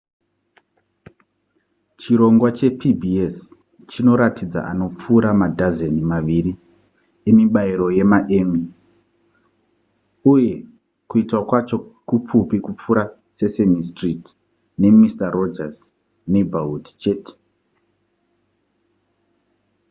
chirongwa chepbs chinoratidza anopfuura madhazeni maviri emibairo yemaemmy uye kuitwa kwacho kupfupi kupfuura sesame street ne mister rogers neighborhood chete